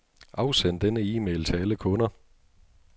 Afsend denne e-mail til alle kunder.